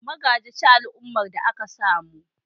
Magaji ci al'ummar da aka samu